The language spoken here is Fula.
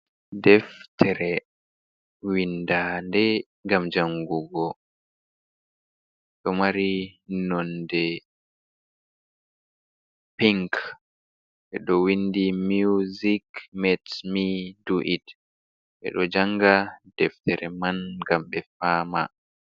Deftere windande gam jangugo ɗo mari nonde pink ɓeɗo windi muzik metsmi duit ɓeɗo janga deftere man gam ɓe fama.